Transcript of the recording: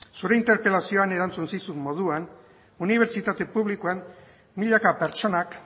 zure interpelazioan erantzun zizun moduan unibertsitate publikoan milaka pertsonak